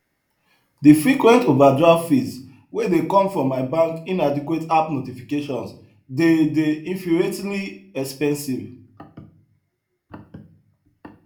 de frequent overdraft fees wey dey come from my bank inadequate app notifications dey dey infuriatingly expensive